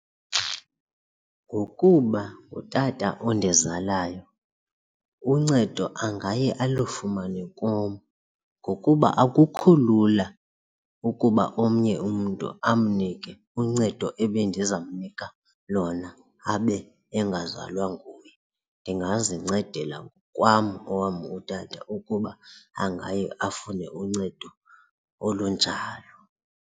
Ngokuba utata ondizalayo uncedo angaye alufumane kum ngokuba akukho lula ukuba omnye umntu amnike uncedo ebendizamnika lona abe engazalwa nguye. Ndingazincedela ngokwam owam utata ukuba angaye afune uncedo olunjalo.